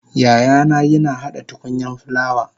yayana yina hada tukunyan fulawa